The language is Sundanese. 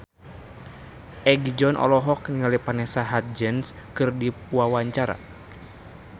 Egi John olohok ningali Vanessa Hudgens keur diwawancara